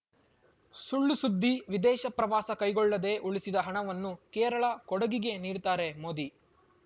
ಸುಳ್‌ ಸುದ್ದಿ ವಿದೇಶ ಪ್ರವಾಸ ಕೈಗೊಳ್ಳದೇ ಉಳಿಸಿದ ಹಣವನ್ನು ಕೇರಳ ಕೊಡಗಿಗೆ ನೀಡ್ತಾರೆ ಮೋದಿ